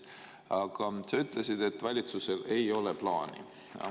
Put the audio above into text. Aga sa ütlesid, et valitsusel ei ole plaani.